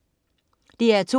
DR2: